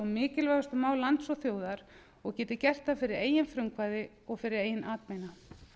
mikilvægustu mál lands og þjóðar og geti gert það fyrir eigið frumkvæði og fyrir eigin atbeina